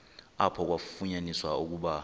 apho kwafunyaniswa ukuba